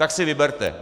Tak si vyberte.